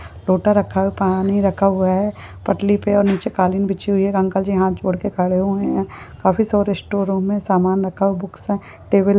photo रखा है पानी रखा हुआ है एक अंकल जी हात जोड़के खड़े खड़े हुए है काफी सारे स्टोर मे सामान रखा बुक्स टेबल --